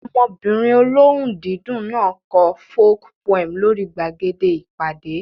Ọmọbìnrin olóhùn dídùn náà kọ folk poem lórí gbàgede ìpàdé